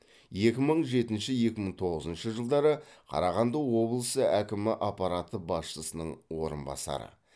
екі мың жетінші екі мың тоғызыншы жылдары қарағанды облысы әкімі аппараты басшысының орынбасары